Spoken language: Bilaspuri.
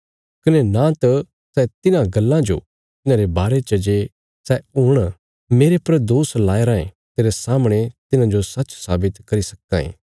कने नां तां सै तिन्हां गल्लां जो तिन्हांरे बारे च जे सै हुण मेरे पर दोष लाया रायें तेरे सामणे तिन्हांजो सच साबित करी सक्कां ये